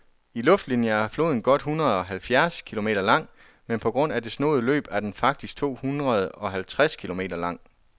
I luftlinie er floden godt hundredeoghalvfjerds kilometer lang, men på grund af det snoede løb er den faktisk tohundredeoghalvtreds kilometer lang.